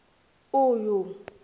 uyu